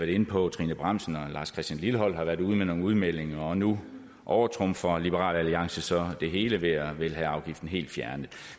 inde på at trine bramsen og lars christian lilleholt har været ude med nogle udmeldinger og nu overtrumfer liberal alliance så det hele ved at ville have afgiften helt fjernet